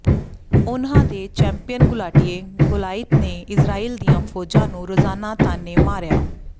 ਉਨ੍ਹਾਂ ਦੇ ਚੈਂਪੀਅਨ ਘੁਲਾਟੀਏ ਗੋਲਿਅਥ ਨੇ ਇਜ਼ਰਾਈਲ ਦੀਆਂ ਫ਼ੌਜਾਂ ਨੂੰ ਰੋਜ਼ਾਨਾ ਤਾਅਨੇ ਮਾਰਿਆ